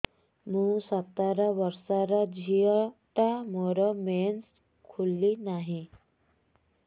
ମୁ ସତର ବର୍ଷର ଝିଅ ଟା ମୋର ମେନ୍ସେସ ଖୁଲି ନାହିଁ